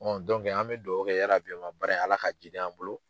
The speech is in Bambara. an bɛ duwawu kɛ baara in Ala ka jiidi an bolo.